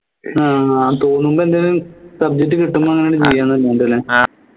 ആഹ് അഹ് തോന്നുമ്പോ എന്തേലു subject കിട്ടുമ്പോ അങ്ങനെ